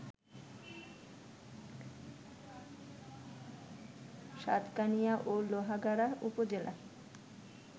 সাতকানিয়া ও লোহাগাড়া উপজেলা